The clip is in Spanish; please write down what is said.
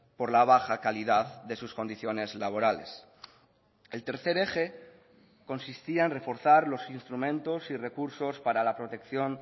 por la baja calidad de sus condiciones laborales el tercer eje consistía en reforzar los instrumentos y recursos para la protección